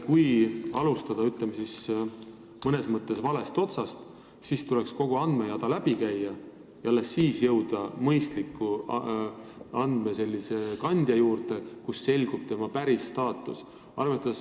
Kui alustada n-ö valest otsast, siis tuleb kogu andmejada läbi käia ja alles lõpuks ehk jõuad vajalikku registrisse, kust selgub noore staatus.